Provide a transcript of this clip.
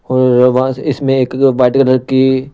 और वहां इसमें एक वाइट कलर की।